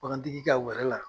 Bagan tigi ka wɛrɛ la.